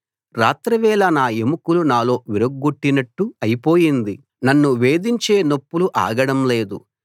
రాత్రివేళ నా ఎముకలు నాలో విరుగ్గొట్టినట్టు అయిపోయింది నన్ను వేధించే నొప్పులు ఆగడం లేదు